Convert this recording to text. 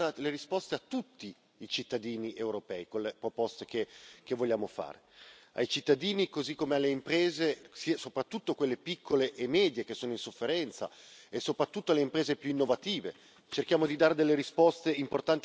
Ambizioso perché cerchiamo di dare risposte a tutti i cittadini europei con le proposte che vogliamo fare, così come alle imprese, soprattutto quelle piccole e medie che sono in sofferenza, e soprattutto alle imprese più innovative